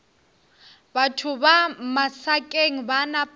batho ba masakeng ba napa